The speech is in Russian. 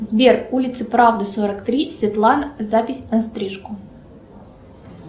сбер улица правды сорок три светлана запись на стрижку